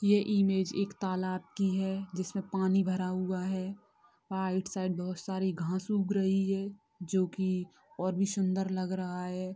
ये इमेज एक तालाब की है जिसमे पानी भरा हुआ है आउटसाइड बहुत साडी घास उग रही है जो की और भी सुन्दर लग रहा है।